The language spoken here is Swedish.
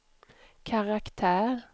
karaktär